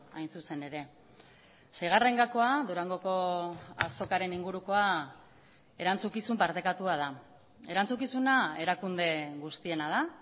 hain zuzen ere seigarren gakoa durangoko azokaren ingurukoa erantzukizun partekatua da erantzukizuna erakunde guztiena da